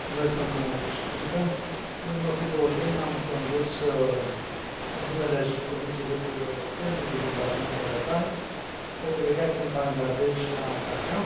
Doamnă președintă, în urmă cu două luni am condus, în numele Subcomisiei pentru drepturile omului din Parlamentul European, o delegație în Bangladesh, la Dhaka.